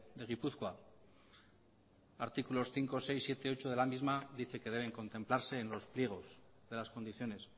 de gipuzkoa artículos cinco seis siete y ocho de la misma dice que deben contemplarse en los pliegos de las condiciones